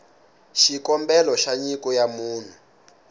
xikombelo xa nyiko ya munhu